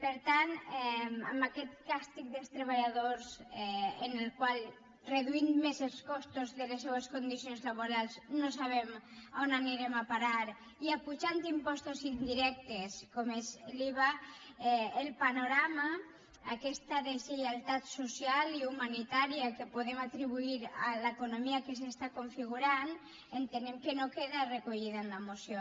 per tant amb aquest càstig dels treballadors en el qual reduint més els costos de les seues condicions laborals no sabem on anirem a parar i apujant impostos indirectes com és l’iva el panorama aquesta deslleialtat social i humanitària que podem atribuir a l’economia que s’està configurant entenem que no queda recollida en la moció